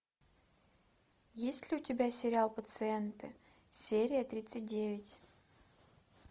есть ли у тебя сериал пациенты серия тридцать девять